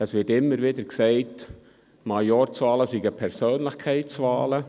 Es wird immer wieder gesagt, Majorzwahlen seien Persönlichkeitswahlen.